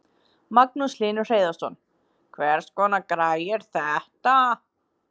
Magnús Hlynur Hreiðarsson: Hvers konar græja er þetta?